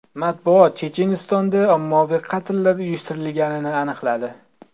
Matbuot Chechenistonda ommaviy qatllar uyushtirilganini aniqladi.